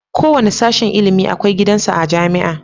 Kowanne sashen ilimin akwai gidan sa a jamia